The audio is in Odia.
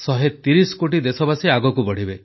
130 କୋଟି ଦେଶବାସୀ ଆଗକୁ ବଢ଼ିବେ